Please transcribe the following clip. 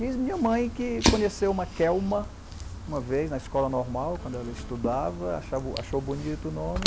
Diz minha mãe que conheceu uma Kelma uma vez na escola normal, quando ela estudava, achava achou bonito o nome.